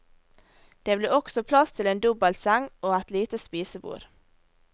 Det ble også plass til en dobbelseng og et lite spisebord.